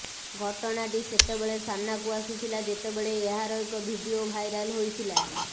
ଘଟଣାଟି ସେତେବେଳେ ସାମ୍ନାକୁ ଆସିଥିଲା ଯେତେବେଳେ ଏହାର ଏକ ଭିଡିଓ ଭାଇରାଲ ହୋଇଥିଲା